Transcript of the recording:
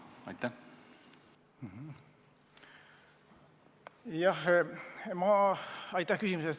Aitäh küsimuse eest!